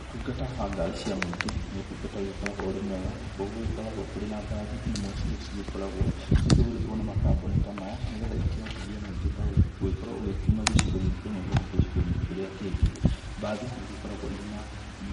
Ũtungata wa ngari cia mũingĩ nĩ ũtungata ũgĩkoragwo ũrĩ mwega, nakuo gũgĩkoragwo kũrĩ na mbathi imwe cirĩa cĩgĩkoragwo cikĩgũrĩtwo nĩ makambũni ta maya, nĩgetha ĩkĩhotithie mũingĩ ta ũyũ gũgĩkorwo ũkiuma gĩcigo-inĩ kĩmwe gũthiĩ gĩcigo-inĩ kĩrĩa kĩngĩ. Mbathi nĩigĩkoragwo irĩ